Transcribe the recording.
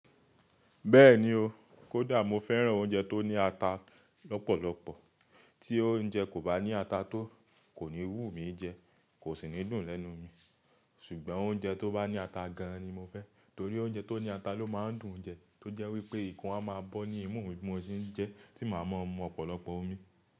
Bẹ́ẹ̀ni o, kódà mo fẹ́ràn oúnjẹ tó ní ata lọ́pọ̀lọpọ̀. Tí oúnjẹ kò bá ní ata tó, kò ní wú mi jẹ, kò sì ní dùn lẹ́nu mi. Ṣùgbọ́n oúnjẹ tó bá ní ata gan an ni mo fẹ́, torí oúnjẹ tó ní ata ló máa ń dùn jẹ, tó jẹ́ wípé ikún a máa bọ́ ní ìmú mi bí mo ṣe ń jẹ ẹ, tí màá mọ ọ̀pọ̀lọpọ̀ omi.